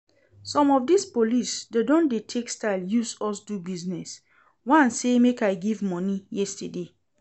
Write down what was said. Some of dis police don dey take style use us do business, one say make I give money yesterday